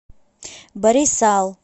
барисал